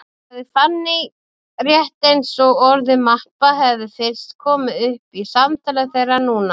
sagði Fanný, rétt eins og orðið mappa hefði fyrst komið upp í samtali þeirra núna.